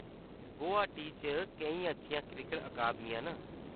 गुवाहाटी च केईं अच्छियां क्रिकट अकादमियां न।